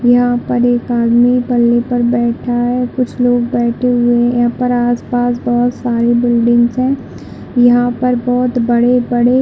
यहाँ पर एक आदमी पल्ले पर बैठा है कुछ लोग बैठे हुए है यहाँ पर आस-पास बहोत साड़ी बिल्डिंग्स है यहाँ पर बहोत बड़े - बड़े--